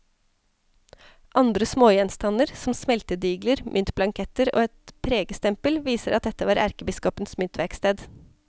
Andre smågjenstander, som smeltedigler, myntblanketter og et pregestempel, viser at dette var erkebiskopens myntverksted.